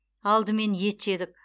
алдымен ет жедік